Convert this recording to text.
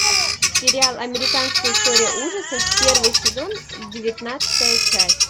сериал американская история ужасов первый сезон девятнадцатая часть